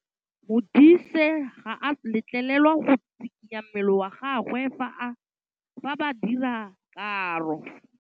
Modise ga a letlelelwa go tshikinya mmele wa gagwe fa ba dira karô.